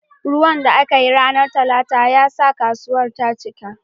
Ruwan da aka yi a ranar Talata ya sa kasuwar ta cika